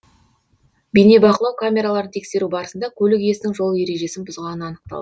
бейнебақылау камераларын тексеру барысында көлік иесінің жол ережесін бұзғаны анықтал